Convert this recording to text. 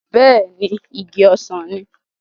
Bẹ́ẹ̀ ni, igi ọsàn ni.